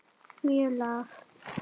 mjög lág.